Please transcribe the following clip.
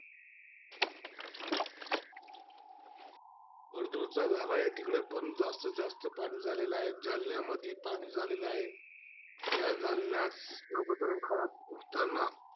परतुडचा झालायं, तीकडेपण जातीत जास्त पाणी झालेला आहे. जालन्यामध्ये पाणी झालेला आहे. त्या जालन्यात इतकं वातावरण खराब होताना,